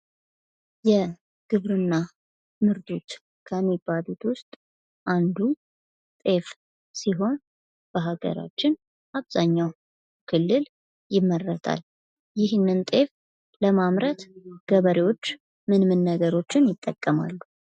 የግብርና ምርቶች ከሚባሉት ውስጥ አንዱ ጤፍ ሲሆን በሀገራችን አብዛኛው ክልል ይመረታል። ይህን ጤፍ ለማምረት ገበሬዎች ምን ምን ነገሮችን ይጠቀማሉ?